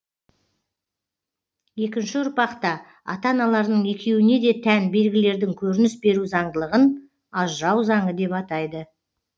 екінші ұрпақта ата аналарының екеуіне де тән белгілердің көрініс беру заңдылығын ажырау заңы деп атайды